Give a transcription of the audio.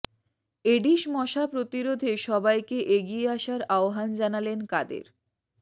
Aedes মশা প্রতিরোধে সবাইকে এগিয়ে আসার আহ্বান জানালেন কাদের